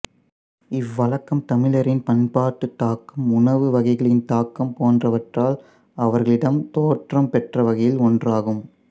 இவ்வழக்கம் தமிழரின் பண்பாட்டுத் தாக்கம் உணவு வகைகளின் தாக்கம் போன்றவற்றால் அவர்களிடம் தோற்றம் பெற்றவைகளில் ஒன்றாகும்